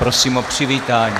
Prosím o přivítání.